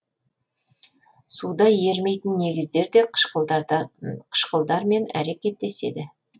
суда ерімейтін негіздер де қышкылдармен әрекеттеседі